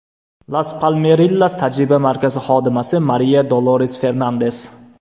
Las Palmerillas tajriba markazi xodimasi Mariya Dolores-Fernandes.